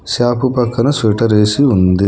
Shop పక్కన sweater ఎసి ఉంది.